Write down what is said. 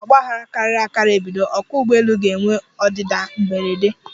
Ọ bụrụ na ogbaghara karịrị akari ebido, ọkwa ụgbọelu ga -enwe ọdịda mberede.